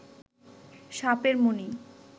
সাপের মনি